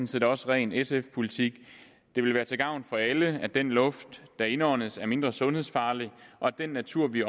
set også ren sf politik det vil være til gavn for alle at den luft der indåndes er mindre sundhedsfarlig og at den natur vi